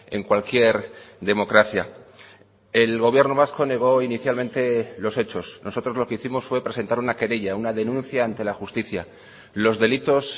en cualquier democracia el gobierno vasco negó inicialmente los hechos nosotros lo que hicimos fue presentar una querella una denuncia ante la justicia los delitos